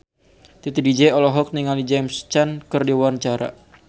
Titi DJ olohok ningali James Caan keur diwawancara